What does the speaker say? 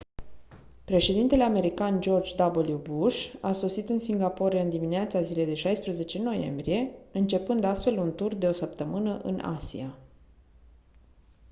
președintele american george w bush a sosit în singapore în dimineața zilei de 16 noiembrie începând astfel un tur de o săptămână în asia